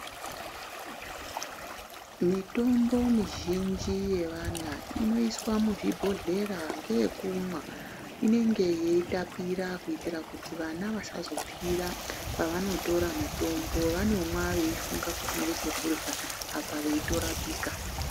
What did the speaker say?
Mitombo mizhinji yevana inoiswa muzvibhodhera ngeyekumwa inenge yeitapira. Kuitira kuti vana vasazopfira pavanotora mitombo vanomwa veifunga kuti ngechekurya apa veitorapika.